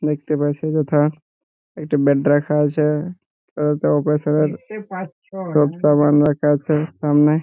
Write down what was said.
দেখতে পাচ্ছি যথা একটি বেড রাখা আছে অল্প অল্প সব সোপ সাবান আছে সামনে।